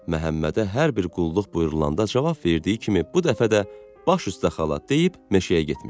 Məhəmmədə hər bir qulluq buyurulanda cavab verdiyi kimi bu dəfə də baş üstə xala deyib meşəyə getmişdi.